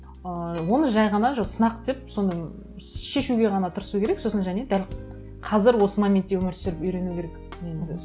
ы оны жай ғана жоқ сынақ деп соны шешуге ғана тырысу керек сосын және дәл қазір осы моментте өмір сүріп үйрену керек негізі